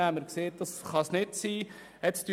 Damit waren wir nicht einverstanden.